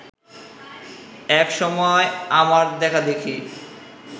এক সময় আমার দেখাদেখি